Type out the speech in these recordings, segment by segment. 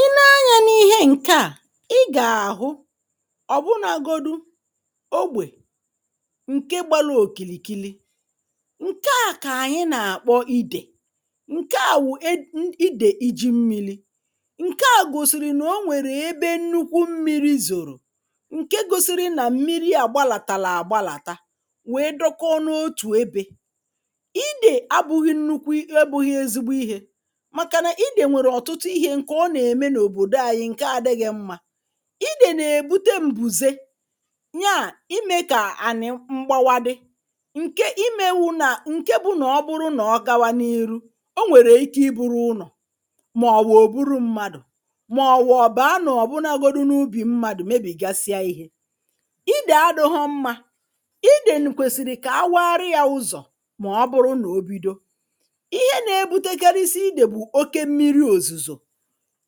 I nee anyā n’ihe ǹke à i gà-àhụ ọ̀ bụ̀nagodu ogbè ǹke gbala òkìlìkili ǹke à kà anyị nà-àkpọ idè ǹke à wụ̀ e iidè iji mmilī ǹke à gòsị̀rị̀ nà o nwèrè ebe nnukwu mmirī zòrò ǹke gosiri nà mmili à gbalàtàrà agbalàta wèe dọkọọ n’otù ebē idè abụghị nnukwu e abụghị ezigbo ihē màkà nà idè nwèrè ọ̀tụtụ ihē ǹkè ọ nà-ème n’òbòdo anyị ǹke adịghị mmā idè nà-èbute m̀bùze nyaà imē kà ànị̀ mgbawa dị ǹke imewū nà ǹke bụ nà ọ bụrụ na ọ gawa n’iru o nwèrè ike I buru ụnọ̀ màòwụ̀ ò buru mmadụ̀ màòwụ̀ ọ̀ baà nà ọ̀ bụ̀nagodu n’ubì mmadụ̀ mebìgasịa ihē idè adịhụ mmā idè kwèsị̀rị̀ kà awaarị yā ụzọ̀ mà ọ bụrụ nà o bido ihe na-ebutekarịsị idè bụ̀ oke mmiri òzùzò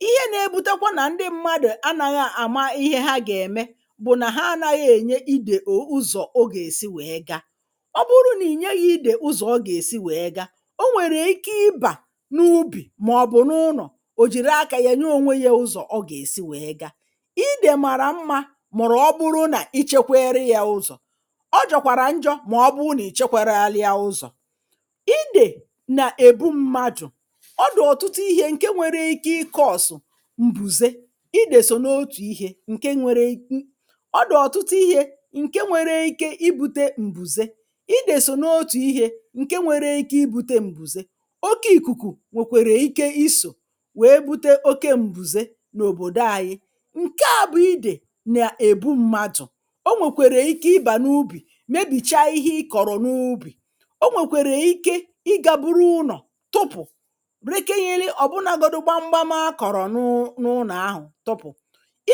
ihe na-ebutakwa nà ndị mmadụ̀ anaghị àma ihe ha gà-ème bụ̀ nà ha anaghị ènye idè ò ụzọ̀ ọ gà-èsi wèe gaa ọ bụrụ nà ìnyeghi idè ụzọ̀ ọ gà-èsi wèe gaa o nwèrè ike ịbà n’ubì màọ̀bụ̀ n’ụnọ̀ ò jìri akā ya nye onwe yā ụzọ̀ ọ gà-èsi wèe gaa idè màrà mmā mụ̀rụ̀ ọ bụrụ nà ichekwerị yā ụzọ̀ ọ jọkwàrà njọ̄ mà ọ bụrụ nà ichekwararị ya ụzọ̀ idè nà-èbu mmadụ̀ ọ dị̀ ọ̀tụtụ ihē ǹke nwere ike ị kọọ̀sụ̀ m̀bùze idè sò n’otù ihē ǹke nwere um i ò dị̀ ọ̀tụtụ ihē ǹke bwere ike ibūte m̀bùze idè sò n’otù ihē ǹke nwere ike ibūte m̀bùze oke ìkùkù nwèkwèrè ike isò wèe bute oke m̀bùze n’òbòdo ayị ǹke à bụ idè nà-èbu mmadụ̀ o nwèkwèrè ike ịbà n’ubì mabìchaa ihe ị kọ̀rọ̀ n’ubì o nwèkwèrè ike ịgā buru ụnọ̀ tụpụ̀ rekenyeli ọ̀bụnagodu gbamgbam a kụ̀rụ̀ nụụ n’ụnọ̀ ahụ̀ tụpụ̀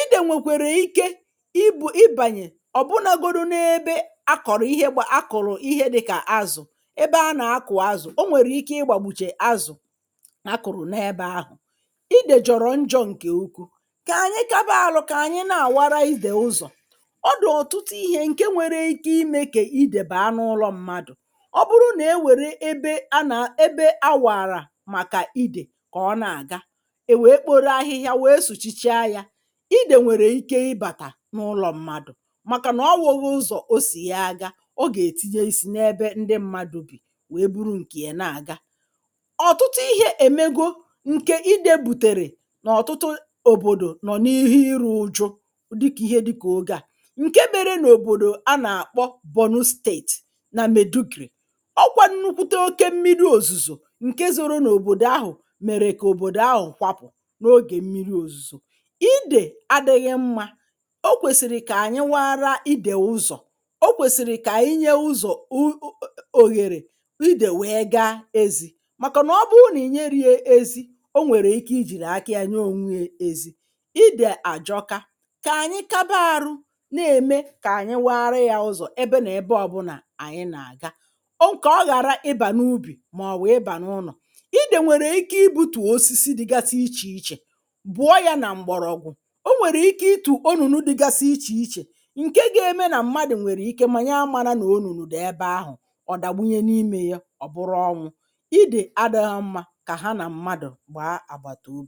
idè nwèkwèrè ike ibū ịbànye ọ̀ bụnāgodu n’ebe a kọ̀rọ̀ ihe gbà akọ̀rọ̀ ihe dịkà azụ̀ ebe anà-akụ̀ azụ̀ o nwèrè ike ịgbàgbùchè azụ̀ a kụ̀rụ̀ n’ebē ahụ̀ idè jọ̀rọ̀ njọ̄ ǹkè ukwu kà ànyị kaba alụ kà ànyị na-àwara idè ụzọ̀ ọ dụ̀ ọ̀tụtụ ihē ǹke nwere ike imē kà idè baà n’ụlọ̄ mmadụ̀ ọ bụrụ nà e wère ebe anà ebe a wààrà màkà idè kà ọ na-àga è wèe kporo ahịhịa wèe sụ̀chichaa yā idè nwère ike ị bàtà n’ụlọ̄ mmadụ̀ màkà n’onweghụ ụzọ̀ o sì ya aga ọ gà-ètinye isī n’ebe ndị mmadụ̄ bì wèe buru ǹkè ya na-àga ọ̀tụtụ ihē èmego ǹkè idē bùtèrè n’ọ̀tụtụ òbòdọ nọ̀ n’ihe irī ụjụ dịkà ihe dịkà oge à ǹke mere n’òbòdò anà-àkpọ Bornu state nà Maidugri ọọ̄ kwa nnukwute oke mmili òzùzò ǹke zoro n’òbòdò ahụ̀ mèrè kà òbòdò ahụ̀ kwapụ̀ n’ogè mmiri òzùzò idè adịghị mmā o kwèsị̀rị̀ kà ànyị waara idè ụzọ̀ o kwèsị̀rị̀ kà ànyị nye ụzọ̀ u u u òhèrè idè wèe gaa ezī màkà nà ọ bụrụ nà ìnyerī ya ezi o nwèrè ike ijìrì aka yā nye onwe ya ezi idè àjọka kà ànyị kaba arụ na-ème kà ànyị waarị yā ụzọ̀ ebe nà-ebe ọbụnà àyị nà-àga o kà ọ ghàra ịbà n’ubì mà ọ̀ wụ̀ ịbà n’ụlọ̀ idè nwèrè ike ibutù osisi dịgasị ichè ichè bụ̀ọ yā nà m̀gbọ̀rọ̀gwụ̀ o nwèrè ike itù onùnu dịgasị ichè ichè ǹke ga-eme nà mmadụ̀ nwèrè ike mà ya amāna nà onùnù dị̀ ebe ahụ̀ ọ̀ dàgbunye n’imē ya ọ̀ bụrụ ọnwụ̄ idè adịhụ mmā kà ha nà mmadụ̀ gbàa àgbàtàobì